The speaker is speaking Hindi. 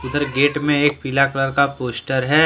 गेट में एक पीला कलर का पोस्टर है।